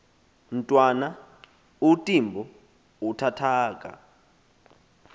mntwana untimbo uuthathaka